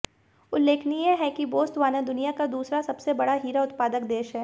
उल्लेखनीय है कि बोस्तवाना दुनिया का दूसरा सबसे बड़ा हीरा उत्पादक देश है